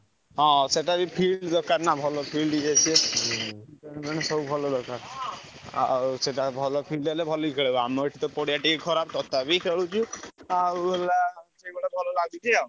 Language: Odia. ହଁ ସେଟା ବି field ଦରକାର ନାଁ field ଇଏ ସିଏ ସେଟା ଭଲ field ହେଲେ ଭଲକି ଖେଳି ହବ ଆମର ଏଠି ପଡିଆ ବି ଖରାପ ତଥାପି ଖେଳୁଛୁ ।